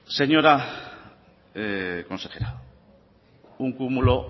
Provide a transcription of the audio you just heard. señora consejera un cúmulo